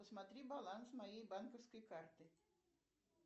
посмотри баланс моей банковской карты